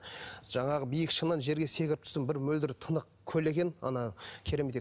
жаңағы биік шыңнан жерге секіріп түстім бір мөлдір тынық көл екен ана